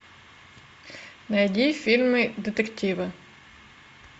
найди фильмы детективы